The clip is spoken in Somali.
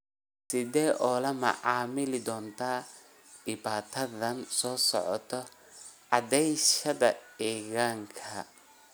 Sideed ula macaamili doontaa dhibaatadan soo socota cadayashada ilkahaaga?